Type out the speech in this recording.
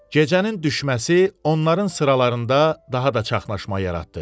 Gecənin düşməsi onların sıralarında daha da çaşqınlıq yaratdı.